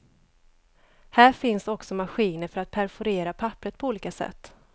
Här finns också maskiner för att perforera pappret på olika sätt.